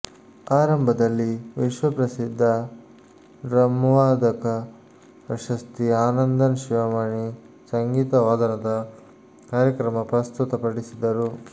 ಆರಂಭದಲ್ಲಿ ವಿಶ್ವಪ್ರಸಿದ್ಧ ಡ್ರಮ್ವಾದಕ ಪದ್ಮಶ್ರೀ ಆನಂದನ್ ಶಿವಮಣಿ ಸಂಗೀತವಾದನ ಕಾರ್ಯಕ್ರಮ ಪ್ರಸ್ತುತ ಪಡಿಸಿದರು